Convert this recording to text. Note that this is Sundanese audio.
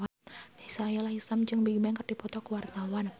Sahila Hisyam jeung Bigbang keur dipoto ku wartawan